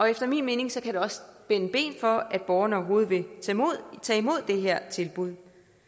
efter min mening kan det også spænde ben for at borgeren overhovedet vil tage imod det her tilbud